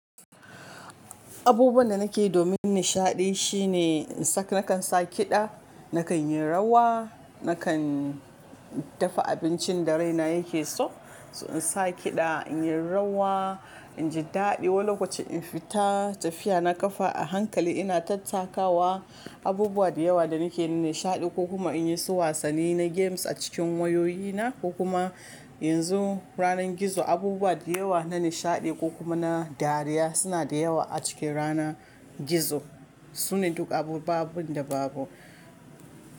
Abubuwan da nake yi domin nishaɗi shine in saka nakan sa kiɗa, nakan yi rawa, nakan dafa abincin da raina yake so. So in sa kiɗa, in yi rawa, in ji daɗi wani lokaci in fita tafiya na ƙafa a hankali ina tattakawa. Abubuwa da yawa da nake nishaɗi ko kuma in yi su wasanni na games a cikin wayoyina ko kuma yanzu ranar gizo abubuwa da yawa na nishaɗi ko kuma na dariya suna da yawa a cikin ranar gizo. Sune duk abubuwa da babu.